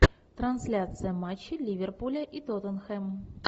трансляция матча ливерпуля и тоттенхэм